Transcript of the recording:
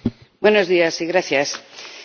Señor Presidente,